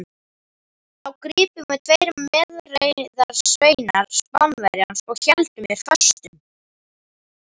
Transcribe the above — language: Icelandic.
Þá gripu mig tveir meðreiðarsveinar Spánverjans og héldu mér föstum.